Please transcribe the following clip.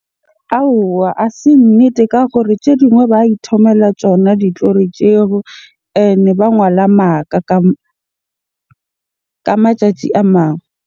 Aowa ha se nnete ka gore tje dingwe ba ithomela tsona di tjeho. Ene ba ngola maka ka matjatji a mang.